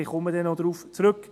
Ich komme noch darauf zurück.